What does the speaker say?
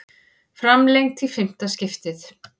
Framlengt í fimmta skiptið